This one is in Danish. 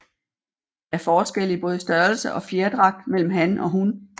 Der er forskel i både størrelse og fjerdragt mellem han og hun